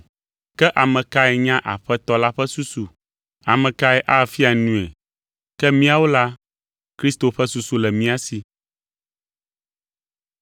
“Ke ame kae nya Aƒetɔ la ƒe susu? Ame kae afia nui?” Ke míawo la, Kristo ƒe susu le mía si.